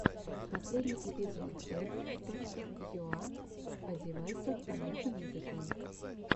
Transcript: последний эпизод ф точка юа о девайсах понятным языком